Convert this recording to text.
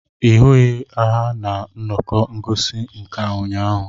ị hụghị ha na nnọkọ ngosi nka ụnyahụ?